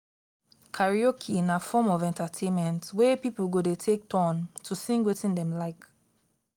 karaoke na form of entertainment wey pipo go de take turn to sing wetin dem like